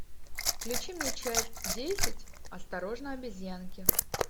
включи мне часть десять осторожно обезьянки